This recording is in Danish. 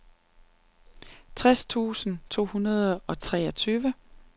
tres tusind to hundrede og treogtyve